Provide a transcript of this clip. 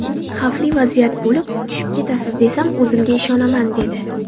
Xavfli vaziyat bo‘lib, tushib ketasiz, desam, o‘zimga ishonaman, dedi.